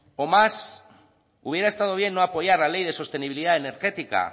o más hubiera estado bien no apoyar la ley de sostenibilidad energética